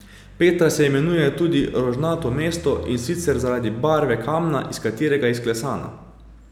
Petra se imenuje tudi Rožnato mesto, in sicer zaradi barve kamna, iz katerega je izklesana.